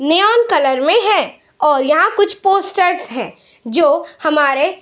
neon colour में है और यहाँ कुछ पोस्टर्स है जो हमारे --